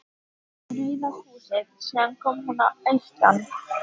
Rauða húsinu síðan hún kom að austan.